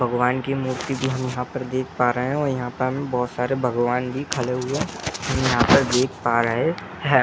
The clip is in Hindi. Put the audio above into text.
भगवान की मूर्ति भी हम यहाँ पर देख पा रहे हैं और यहाँ पर हमें बहुत सारे भगवानजी खड़े हुए हम यहाँ पर देख पा रहे हैं ।